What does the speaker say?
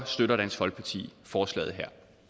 støtter dansk folkeparti forslaget her